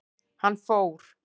Hann fór.